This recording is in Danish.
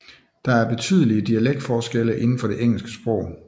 Der er betydelige dialektforskelle inden for det engelske sprog